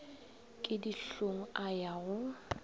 ke dihlong a ya go